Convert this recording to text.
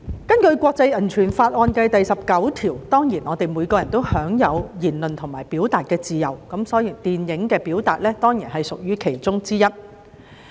根據國際人權法案第十九條，人人當然都享有言論和表達的自由，電影的表達亦屬其中之一。